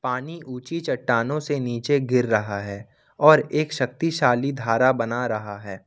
पानी ऊंची चट्टानों से नीचे गिर रहा है और एक शक्तिशाली धारा बना रहा है।